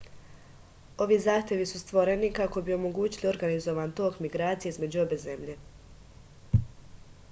ovi zahtevi su stvoreni kako bi omogućili organizovan tok migracije između obe zemlje